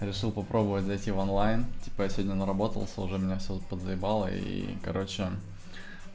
решил попробовать зайти в онлайн типа я сегодня на работался уже меня все подзаебало и короче